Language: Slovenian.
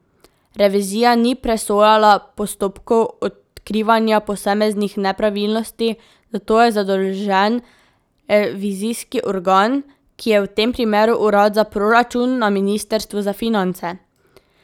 Revizija ni presojala postopkov odkrivanja posameznih nepravilnosti, za to je zadolžen revizijski organ, ki je v tem primeru Urad za proračun na ministrstvu za finance.